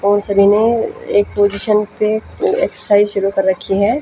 और सभी ने एक पोजीसन पे एक्सरसाइज शुरु कर रखी है।